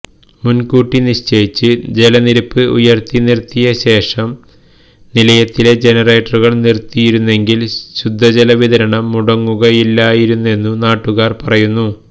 മുൻകൂട്ടി നിശ്ചയിച്ച് ജലനിരപ്പ് ഉയർത്തി നിർത്തിയശേഷം നിലയത്തിലെ ജനറേറ്ററുകൾ നിർത്തിയിരുന്നെങ്കിൽ ശുദ്ധജലവിതരണം മുടങ്ങുകയില്ലായിരുന്നെന്നു നാട്ടുകാർ പറയുന്നു